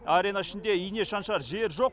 арена ішінде ине шаншар жер жоқ